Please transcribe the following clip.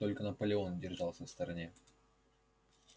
только наполеон держался в стороне